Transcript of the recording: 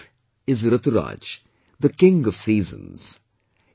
Vasant is RITURAJ, the king of seasons